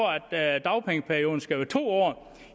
at dagpengeperioden skal være to år